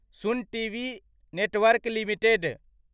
सुन TV network limited